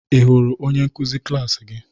Ị hụrụ onye nkuzi klas gị?